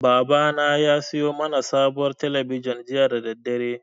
Babana ya siyo mana sabuwar talabijin jiya da daddare.